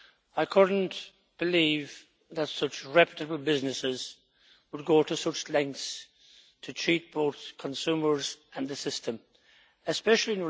I could not believe that such reputable businesses would go to such lengths to treat both consumers and the system especially